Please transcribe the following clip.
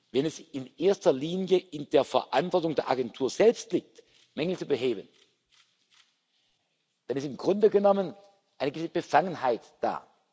Wenn es in erster Linie in der Verantwortung der Agentur selbst liegt, Mängel zu beheben, dann ist im Grunde genommen eine gewisse Befangenheit da.